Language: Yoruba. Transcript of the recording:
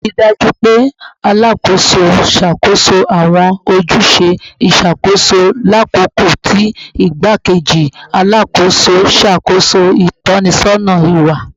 Rii daju pe Alakoso n ṣakoso awọn ojuse iṣakoso lakoko ti Igbakeji Alakoso n ṣakoso itọsọna iwa